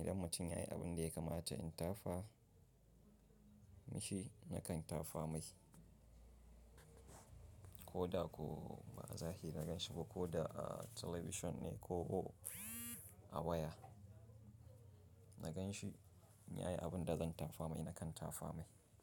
Idan mutum yayi abin da ya kamata in tafa mishi nakan tafa mai. Ko da ko ba a zahiri na gan shi ba ko da a talabishin ne ko a waya, na gan shi in yayi abin da zan tafa mai nakan tafa mai.